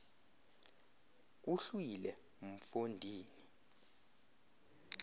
kuhlwile mfo ndini